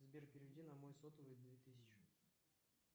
сбер переведи на мой сотовый две тысячи